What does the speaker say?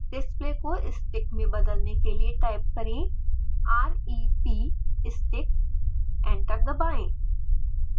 display को sticks में बदलने के लिए टाइप करें rep stick एंटर दबाएँ